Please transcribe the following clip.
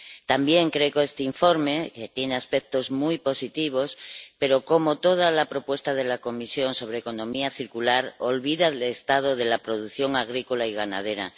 También creo que este informe tiene aspectos muy positivos pero, como toda la propuesta de la Comisión sobre economía circular, olvida el estado de la producción agrícola y ganadera.